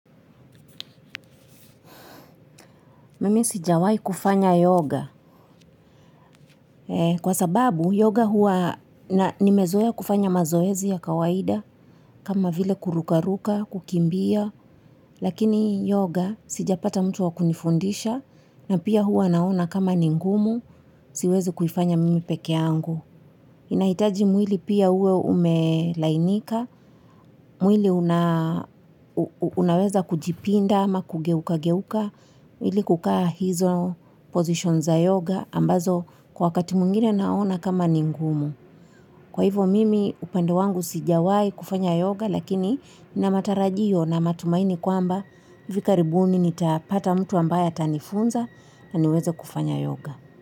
Mimi sijawahi kufanya yoga. Kwa sababu yoga hua nimezoea kufanya mazoezi ya kawaida kama vile kurukaruka, kukimbia, lakini yoga sijapata mtu wa kunifundisha na pia hua naona kama ni ngumu siwezi kuifanya mimi peke yangu. Inahitaji mwili pia uwe umelainika, mwili unaweza kujipinda ama kugeuka-geuka, mwili kukaa hizo position za yoga ambazo kwa wakati mwingine naona kama ni ngumu. Kwa hivyo mimi upande wangu sijawahi kufanya yoga lakini nina matarajio na matumaini kwamba hivi karibuni nitapata mtu ambaye atanifunza na niweze kufanya yoga.